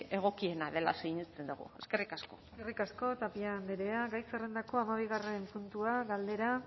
egokiena dela sinesten dugu eskerrik asko eskerrik asko tapia andrea gai zerrendako hamabi puntua galdera